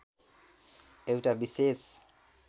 एउटा विशेष